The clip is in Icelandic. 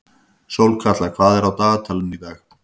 Sólkatla, hvað er í dagatalinu í dag?